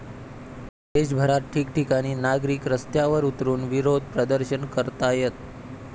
देशभरात ठिकठिकाणी नागरिक रस्त्यांवर उतरुन विरोध प्रदर्शन करतायत.